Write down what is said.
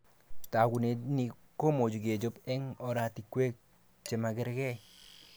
Tagunet ni komuch kechob eng oratikwe chemakerke